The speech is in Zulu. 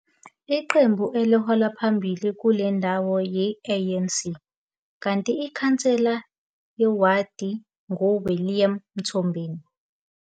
Iqembu elihola phambili kule ndawo yi-ANC kanti iKhansela yeWadi nguWilliam Mthombeni.